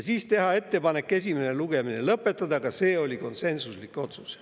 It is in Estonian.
Teha ettepanek esimene lugemine lõpetada, ka see oli konsensuslik otsus.